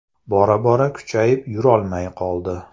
Bora bora kuchayib yurolmay qoldi.